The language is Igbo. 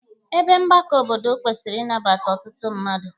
Ebe mgbakọ obodo kwesịrị ịnabata ọtụtụ mmadụ.